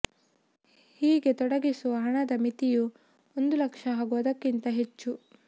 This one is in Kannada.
ಹೀಗೆ ತೊಡಗಿಸುವ ಹಣದ ಮಿತಿಯು ಒಂದು ಲಕ್ಷ ಹಾಗೂ ಅದಕ್ಕಿಂತ ಹೆಚ್ಚು